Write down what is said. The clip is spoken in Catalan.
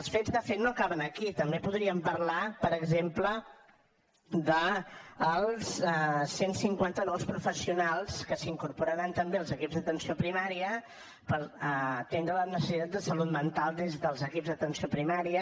els fets de fet no acaben aquí també podríem parlar per exemple dels cent i cinquanta nous professionals que s’incorporaran també als equips d’atenció primària per atendre les necessitats de salut mental des dels equips d’atenció primària